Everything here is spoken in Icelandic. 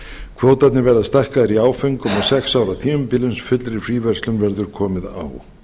kvótarnir verða stækkaðir í áföngum á sex ára tímabili uns fullri fríverslun verður komið á